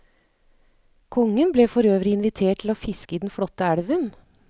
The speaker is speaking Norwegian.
Kongen ble for øvrig invitert til å fiske i den flotte elven.